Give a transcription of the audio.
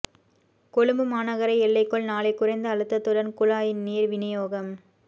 கொழும்பு மாநகர எல்லைக்குள் நாளை குறைந்த அழுத்தத்துடன் குழாய் நீர் விநியோகம்